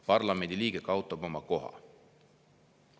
Parlamendiliige kaotab oma koha.